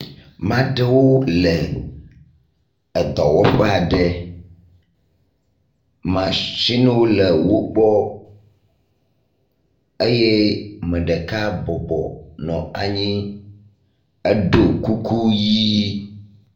Maɖewo le edɔwɔƒeaɖe machino le wógbɔ eye meɖeka bɔbɔ nɔ anyi edó kuku ɣi